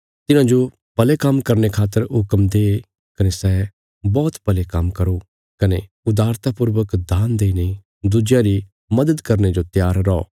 तिन्हांजो भले काम्म करने खातर हुक्म दे कने सै बौहत भले काम्म करो कने उदारता पूर्वक दान देईने दुज्यां री मद्‌द करने जो त्यार रौ